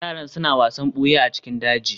yaran suna wasan buya a cikin daji